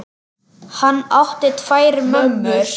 Hann átti tvær mömmur.